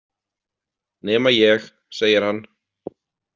Nema ég, segir hann.